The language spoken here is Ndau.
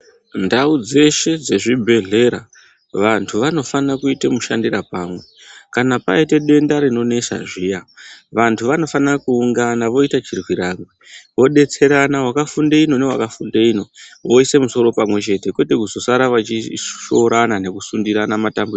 Ndau dzeshe dzezvibhedhlera, vantu vanofane kuyita mushandira pamwe, kana payite denda rinonesa zviya, vantu vanofane kuungana voyita chirwirangwe ,vodetserana wakafunde ino newakafunde ino voyise musoro pamwe chete, kwete kuzosara vachishoorana ,nekusundirana matambudziko.